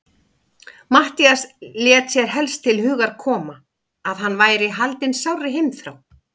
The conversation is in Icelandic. Matthías lét sér helst til hugar koma, að hann væri haldinn sárri heimþrá.